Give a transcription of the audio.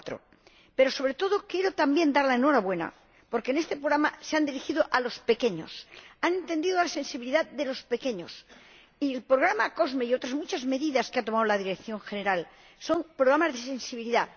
2004. Pero, sobre todo, quiero también dar la enhorabuena porque en este programa se han dirigido a los pequeños, han entendido la sensibilidad de los pequeños y el programa COSME y otras muchas medidas que ha tomado la Dirección General, son programas de sensibilidad.